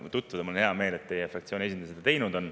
Mul on hea meel, et teie fraktsiooni esindaja seda teinud on.